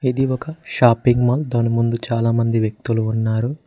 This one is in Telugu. ఇది ఒక షాపింగ్ మాల్ దాని ముందు చాలా మంది వ్యక్తులు ఉన్నారు.